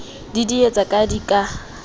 di didietse ha di ka